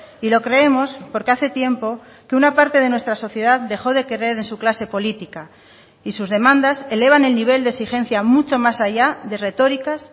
y lo creemos porque hace tiempo que una parte de nuestra sociedad dejó de creer en su clase política y sus demandas elevan el nivel de exigencia mucho más allá de retóricas